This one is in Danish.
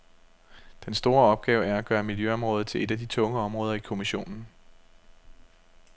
Den store opgave er at gøre miljøområdet til et af de tunge områder i kommissionen.